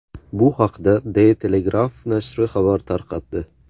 Bu haqda De Telegraaf nashri xabar tarqatdi.